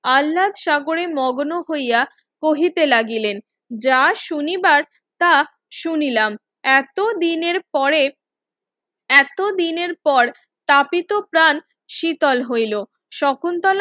আলনাত সাগরে মগ্ন হইয়া কহিতে লাগিলেন যা শুনিবার তা শুনিলাম এতো দিনের পরে এতো দিনের পর তাপিত প্রাণ শীতল হইলো শকুন্তলা